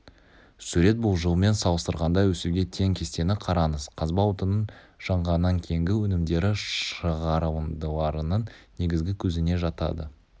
сурет бұл жылмен салыстырғанда өсуге тең кестені қараңыз қазба отынның жанғаннан кейінгі өнімдері шығарындыларының негізгі көзіне жатады